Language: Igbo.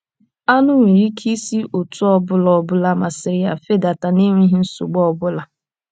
AṄỤ nwere ike isi otú ọ bụla ọ bụla masịrị ya fedata n’enweghị nsogbu ọ bụla.